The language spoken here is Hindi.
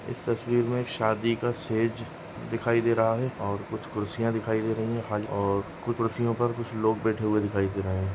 इस तस्वीर मे एक शादी का स्टेज दिखाई दे रहा है और कुछ कुर्सिया दिखाई दे रही है खाली और कुछ कुर्सियों पर कुछ लोग बैठे हुए दिखाई दे रहे है।